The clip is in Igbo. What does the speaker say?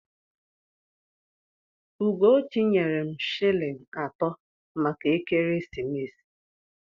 Ugochi nyere m shịlịn atọ maka ekeresimesi.